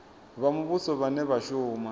vha muvhuso vhane vha shuma